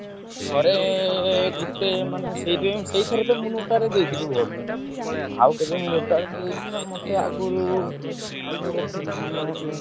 ଥରେ ଗୋଟେ ମାନେ ସେଇଥି ପାଇଁ ସେଇଥରକ ମୁଁ ନୋଟା ରେ ଦେଇଥିଲି vote ଆଉକେବେ ନୋଟା ରେ ଦେଇନି ମତେ ଆଗରୁ ଗୋଟେ ଥିଲା ।